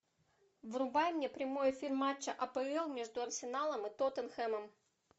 врубай мне прямой эфир матча апл между арсеналом и тоттенхэмом